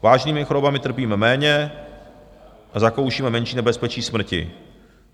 Vážnými chorobami trpíme méně a zakoušíme menší nebezpečí smrti.